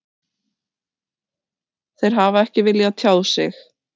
Þeir hafa ekki viljað tjá sig